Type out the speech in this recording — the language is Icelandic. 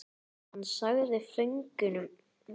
Hann sagði föngunum góð tíðindi af öllum þeirra ættingjum.